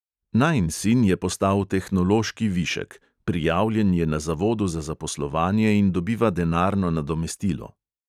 Najin sin je postal tehnološki višek, prijavljen je na zavodu za zaposlovanje in dobiva denarno nadomestilo.